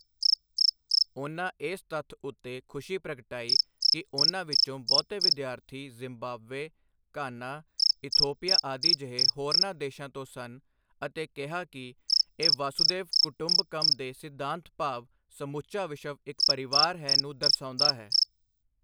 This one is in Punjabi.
ਉਨ੍ਹਾਂ ਇਸ ਤੱਥ ਉੱਤੇ ਖ਼ੁਸ਼ੀ ਪ੍ਰਗਟਾਈ ਕਿ ਉਨ੍ਹਾਂ ਵਿੱਚੋਂ ਬਹੁਤੇ ਵਿਦਿਆਰਥੀ ਜ਼ਿੰਬਾਬਵੇ, ਘਾਨਾ, ਇਥੋਪੀਆ ਆਦਿ ਜਿਹੇ ਹੋਰਨਾਂ ਦੇਸ਼ਾਂ ਤੋਂ ਸਨ ਅਤੇ ਕਿਹਾ ਕਿ ਇਹ ਵਸੁਧੈਵ ਕੁਟੁੰਬਕਮ ਦੇ ਸਿਧਾਂਤ ਭਾਵ ਸਮੁੱਚਾ ਵਿਸ਼ਵ ਇੱਕ ਪਰਿਵਾਰ ਹੈ ਨੂੰ ਦਰਸਾਉਂਦਾ ਹੈ।